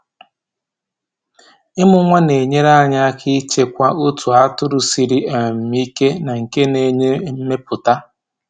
Ịmụ nwa na-enyere anyị aka ịchekwa otu atụrụ siri um ike na nke na-enye mmepụta.